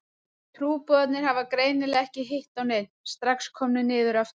Trúboðarnir hafa greinilega ekki hitt á neinn, strax komnir niður aftur.